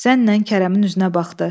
Zənnən Kərəmin üzünə baxdı.